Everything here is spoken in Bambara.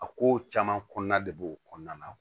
A ko caman kɔnɔna de b'o kɔnɔna na